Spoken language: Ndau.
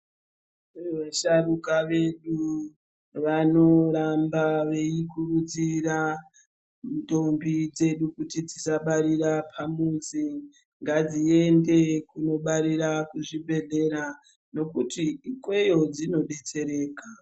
Musharuka vedu vanoramba veikurudzira ndombi dzedu kuti dzisabarira pamuzi ngadziende kunobarira kuzvibhedhlera, ngokuti ikweyo dzinodetsereka.